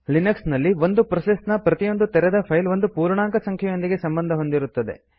Linux ನಲ್ಲಿ ಒಂದು process ನ ಪ್ರತಿಯೊಂದು ತೆರೆದ ಫೈಲ್ ಒಂದು ಪೂರ್ಣಾಂಕ ಸಂಖ್ಯೆಯೊಂದಿಗೆ ಸಂಬಂಧ ಹೊಂದಿರುತ್ತದೆ